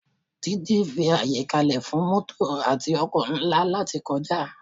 Títì fi àyè kalẹ fún mótò àti ọkọ̀ ńlá láti kọjá